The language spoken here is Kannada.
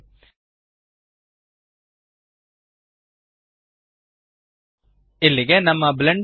ಶುಭವಾಗಲಿ160